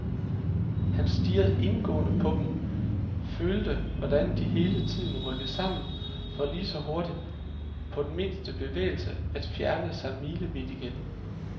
Han stirrede indgående på dem, følte hvordan de hele tiden rykkede sammen, for lige så hurtigt, på den mindste bevægelse, at fjerne sig milevidt igen.